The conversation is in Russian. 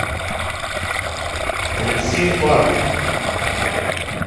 алексей паркин